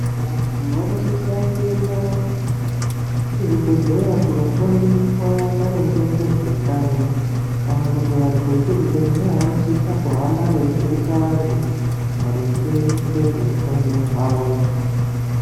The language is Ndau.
Vantu vanosisa kuenda kuzvibhedhleya kundofundiswa maringe ngezveutano kana kuti vantu vekuzvibhedhleya vanosisa kuhamba veifundisa vantu maringe ngezveutano hwawo.